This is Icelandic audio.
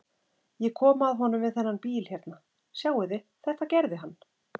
Ég kom að honum við þennan bíl hérna. sjáiði, þetta gerði hann!